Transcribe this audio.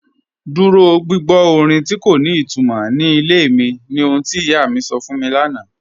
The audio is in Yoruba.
Dúró gbìgbọ́ orin tí kò ní ìtumọ́ ní ilẹ̀ mi ní ọ̀hun tí iyá mi sọ́ fún mi lánà